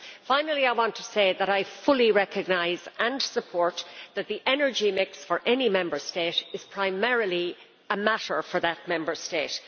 Finally, I want to say that I fully recognise and support that the energy mix for any Member State is primarily a matter for that Member State.